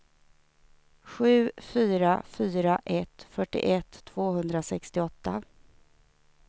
sju fyra fyra ett fyrtioett tvåhundrasextioåtta